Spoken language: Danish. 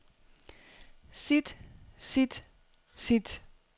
sit sit sit